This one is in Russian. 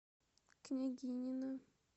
княгинино